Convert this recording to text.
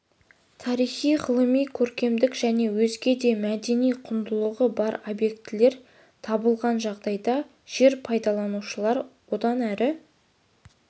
тарихи ғылыми көркемдік және өзге де мәдени құндылығы бар объектілер табылған жағдайда жер пайдаланушылар одан әрі